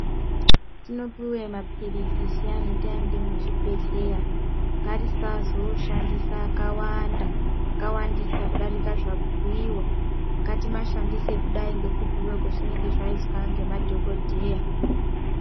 Hetinopuwe mapilizi zviyani taende muzvibhehlera ngatisazoshandisa akawandisa kudarika zvabhuyiwa. Ngatimashandise kudai ngekubhuyiwa kwezvaizwa nemadhokodheya.